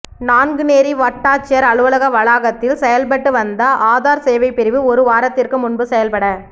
நான்குனேரி வட்டாட்சியா் அலுவலக வளாகத்தில் செயல்பட்டு வந்த ஆதாா் சேவை பிரிவு ஒரு வாரத்திற்கு முன்பு செயல்பட